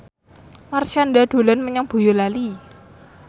Marshanda dolan menyang Boyolali